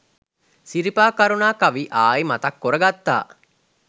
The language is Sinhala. සිරිපා කරුනා කවි ආයි මතක් කොර ගත්තා